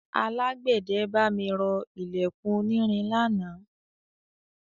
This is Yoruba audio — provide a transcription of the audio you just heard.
Alágbẹ̀dẹ bá mi rọ ilẹ̀kùn onírin lánàá.